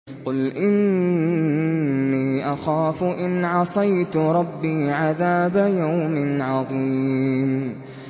قُلْ إِنِّي أَخَافُ إِنْ عَصَيْتُ رَبِّي عَذَابَ يَوْمٍ عَظِيمٍ